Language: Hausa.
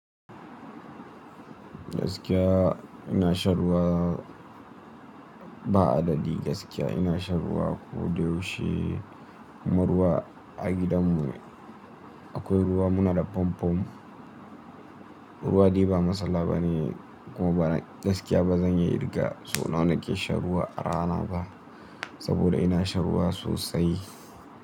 Gaskiya ina shan ruwa. Ba adadi gaskiya ina shan ruwa ko da yaushe. Kuma ruwa a gidanmu akwai ruwa muna da famfo. Ruwa dai ba matsala bane kuma bana gaskiya ba zan iya kirga sau nawa nake shan ruwa a rana ba. Saboda ina shan ruwa sosai.